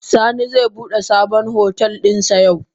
Sani ze bude sabon hotel dinsa yau.